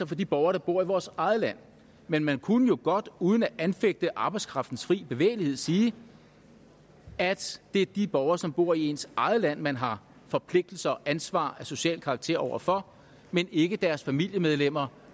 for de borgere der bor i vores eget land men man kunne jo godt uden at anfægte arbejdskraftens fri bevægelighed sige at det er de borgere som bor i ens eget land man har forpligtelser og ansvar af social karakter over for men ikke deres familiemedlemmer